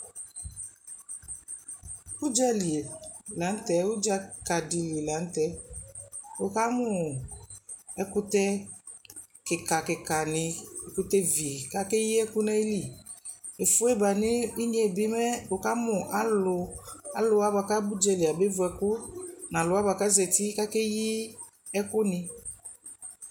Udzali la nu tɛ udzakadili la nu tɛ wukamu ɛkutɛ kika kikani ɛkutɛ vi ku akeyi ɛku nu ayili efue ba nu inye bi mɛ wukamu alu aluwa bua ku akutu ya ba vu ɛku nu aluwa bua ku aza uti ka ke yi ɛkuni